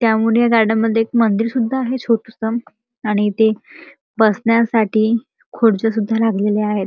त्या उड्या गार्डन मध्ये एक मंदिर सुद्धा आहे छोटंसं आणि इथं बसण्यासाठी खुर्च्या सुद्धा लागलेल्या आहेत.